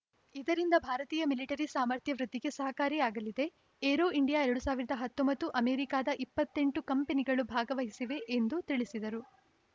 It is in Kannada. ಇದರಿಂದ ಭಾರತೀಯ ಮಿಲಿಟರಿ ಸಾಮರ್ಥ್ಯ ವೃದ್ಧಿಗೆ ಸಹಕಾರಿ ಆಗಲಿದೆ ಏರೋ ಇಂಡಿಯಾ ಎರಡ್ ಸಾವಿರದ ಹತ್ತೊಂಬತ್ತು ಅಮೆರಿಕಾದ ಇಪ್ಪತ್ತ್ ಎಂಟು ಕಂಪನಿಗಳು ಭಾಗವಹಿಸಿವೆ ಎಂದು ತಿಳಿಸಿದರು